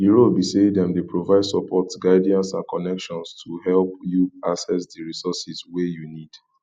di role be say dem dey provide support guidance and connections to help you access di resources wey you need